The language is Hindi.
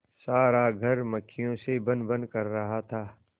सारा घर मक्खियों से भनभन कर रहा था